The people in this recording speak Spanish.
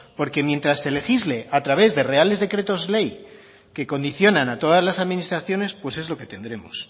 porque mientras se legisle a través de reales decretos ley que condicionan a todas las administraciones pues es lo que tendremos